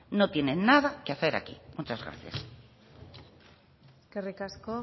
no tiene nada que hacer aquí muchas gracias eskerrik asko